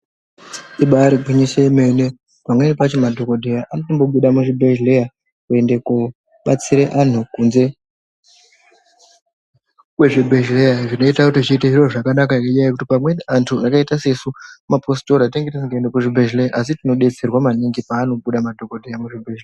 Ibari gwinyiso yemene, pamweni pacho madhokodheya anotobuda muzvibhedhlera kuende kundobatsira antu kunze kwezvibhedhlera, zvinoita kuti zviite zviro zvakanaka ngenyaya yekuti pamweni antu akaita sesu mapositora tinenge tisinga tenderwi kuenda kuzvibhedhlera asi tinodetsera maningi pavanobuda madhokodheya muzvibhedhlera.